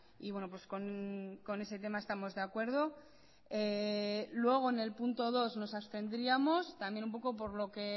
y bueno pues con ese tema estamos de acuerdo en el punto dos nos abstendríamos también un poco